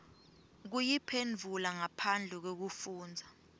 kuyiphendvula ngaphandle kwekufundza